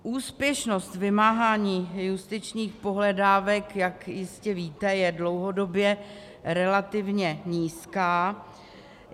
Úspěšnost vymáhání justičních pohledávek, jak jistě víte, je dlouhodobě relativně nízká.